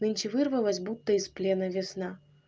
нынче вырвалась будто из плена весна